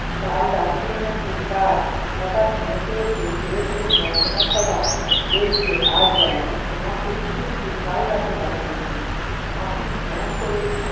কাল রাতে নাকি তার হঠাৎ মনে পড়েছে চোরকে মন্ত্ৰনাথ সভা বসবে আজ রাতে, তোমাকে শুধু শুধু কাল রাতে পাঠানো হলো! আপনি হ্যা করে-